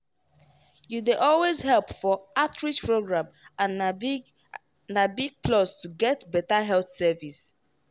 you dey always help for outreach program and na big na big plus to get better health service.